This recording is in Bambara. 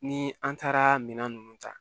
Ni an taara minan nunnu ta